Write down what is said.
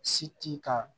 Si ti ka